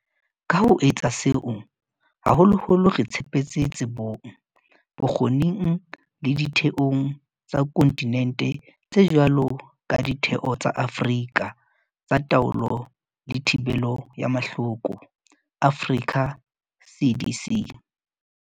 Ka ho etsa seo, haholoholo re tshepetse tsebong, bokgo ning le ditheong tsa konti nente tse jwalo ka Ditheo tsa Afrika tsa Taolo le Thibelo ya Mahloko, Africa CDC.